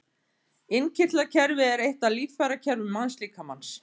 Innkirtlakerfi er eitt af líffærakerfum mannslíkamans.